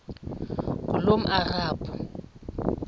ngulomarabu